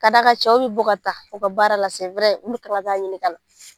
Ka d'a kan cɛw bi bɔ ka taa u ka baara la olu de kan ka taa ɲini ka na.